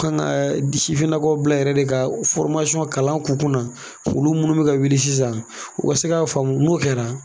U ka kan ka bila yɛrɛ de ka kalan k'u kunna olu minnu bɛ ka wuli sisan u ka se k'a faamu n'o kɛra